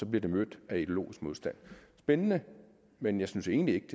bliver det mødt af ideologisk modstand spændende men jeg synes egentlig